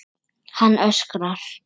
Hann öskrar.